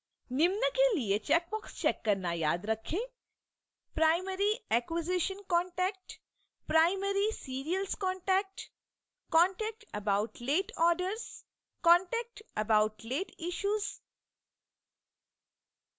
निम्न के लिए चैकबॉक्स check करना याद रखें